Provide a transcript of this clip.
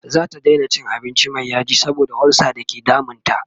zata Daina cin abinci Mai yaji saboda ulsa da ke damun ta